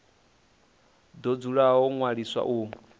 do dzula ho ṅwaliswa u